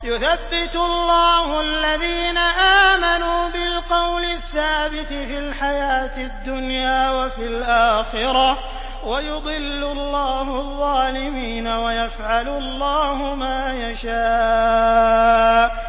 يُثَبِّتُ اللَّهُ الَّذِينَ آمَنُوا بِالْقَوْلِ الثَّابِتِ فِي الْحَيَاةِ الدُّنْيَا وَفِي الْآخِرَةِ ۖ وَيُضِلُّ اللَّهُ الظَّالِمِينَ ۚ وَيَفْعَلُ اللَّهُ مَا يَشَاءُ